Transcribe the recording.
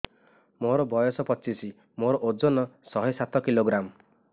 ମୋର ବୟସ ପଚିଶି ମୋର ଓଜନ ଶହେ ସାତ କିଲୋଗ୍ରାମ